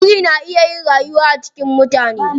Biri na iya rayuwa a cikin mutane.